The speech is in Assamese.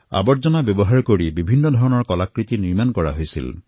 জাবৰসমূহৰ ব্যৱহাৰ কৰি বিভিন্ন প্ৰকাৰৰ কলাকৃতি নিৰ্মাণ কৰা হল